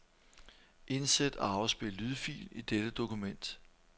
Indsæt og afspil lydfil i dette dokument.